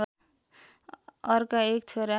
अर्का एक छोरा